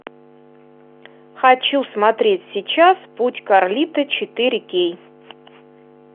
хочу смотреть сейчас путь карлито четыре кей